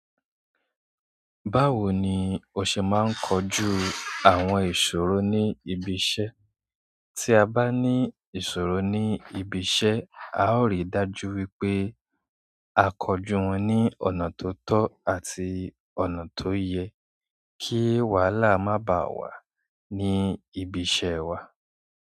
Báwo ni o ṣe máa ń kojú àwọn ìṣòro ní ibi iṣẹ́? Tí a bá ní ìṣòro ní ibi iṣẹ́, a ó rí dájú wípé a kọjú wọn ní ọ̀nà tó tọ́ àti ọ̀nà tó yẹ kí wàhálà má bá wà ní ibi iṣẹ́ wa.